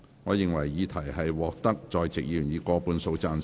我認為議題獲得在席議員以過半數贊成。